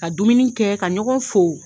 Ka dumuni kɛ ka ɲɔgɔn fo.